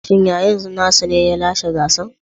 Shin yayan nasa ne ya lashe gasar?